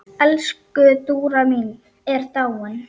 Elsku Dúra mín er dáin.